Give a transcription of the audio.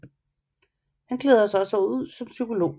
Han klæder sig også ud som psykolog